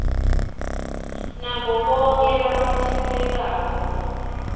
nabo bonkhe labatsintsekako